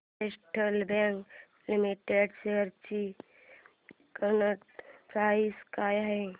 federal bank limited shares ची current price काय आहे